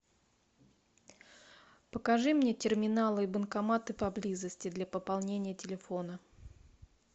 покажи мне терминалы и банкоматы поблизости для пополнения телефона